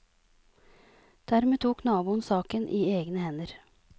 Dermed tok naboen saken i egne hender.